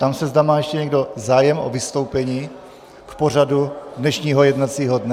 Ptám se, zda má ještě někdo zájem o vystoupení k pořadu dnešního jednacího dne.